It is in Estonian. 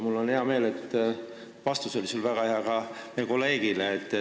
Mul on hea meel, et sul oli väga hea vastus ka meie kolleegile.